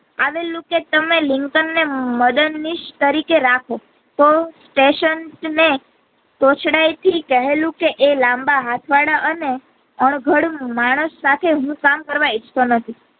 આવેલું કે તમે લિંકન ને મદદ નિશ તરીકે રાખો તો સેશન ને તોછડાય થી કહે લૂ કે એ લાંબા હાથ વાળા અને અણઘડ માણસ સાથે હું કામ કરવા ઇચ્છોતો નથી.